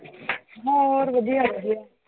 ਹੋਰ ਵਧੀਆ ਵਧੀਆ l